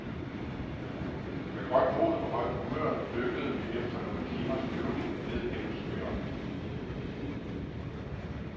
Med godt mod og højt humør dykkede vi efter nogle timers flyvning ned gennem skyerne.